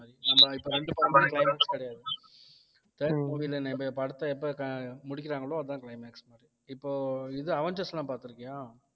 நம்ம இப்ப வந்து ரெண்டு படமே climax கிடையாது climax இப்ப படத்தை எப்ப அஹ் முடிக்கிறாங்களோ அதான் climax மாதிரி இப்போ இது அவென்ஜர்ஸ் எல்லாம் பார்த்திருக்கியா